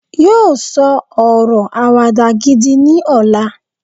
yíò sọ ọrọ Àwàdà gidi ní ọlá